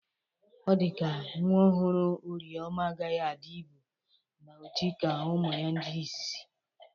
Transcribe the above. Ọ dịka nwa ọhụrụ Orieoma agaghi adị ibụ na ojii ka ụmụ ya ndị ịzịzị.